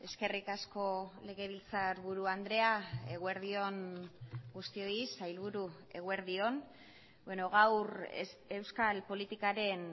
eskerrik asko legebiltzarburu andrea eguerdi on guztioi sailburu eguerdi on gaur euskal politikaren